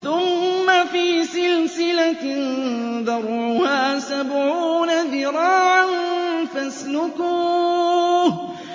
ثُمَّ فِي سِلْسِلَةٍ ذَرْعُهَا سَبْعُونَ ذِرَاعًا فَاسْلُكُوهُ